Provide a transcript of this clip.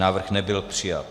Návrh nebyl přijat.